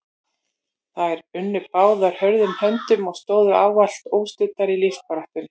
Þær unnu báðar hörðum höndum og stóðu ávallt óstuddar í lífsbaráttunni.